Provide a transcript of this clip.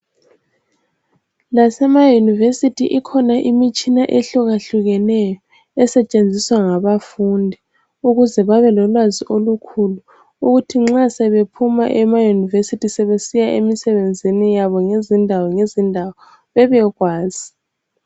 Lasemayunivesithi ikhona imitshina ehlukahlukeneyo, esetshenziswa ngabafundi ukuze babelolwazi olukhulu futhi nxa sebephuma emayunivesithi sebesiya emisebenzini yabo ngezindawo ngezindawo bebekwazi.